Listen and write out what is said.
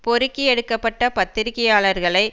பொறுக்கி எடுக்க பட்ட பத்திரிகையாளர்களை